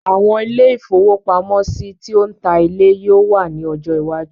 Àwọn ilé-ìfowópamọ́sí ti o ń ta ilé yó ò wà ní ọjọ́ iwájú.